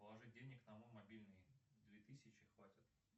положить денег на мой мобильный две тысячи хватит